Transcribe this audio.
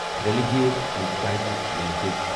Religare enterprises limited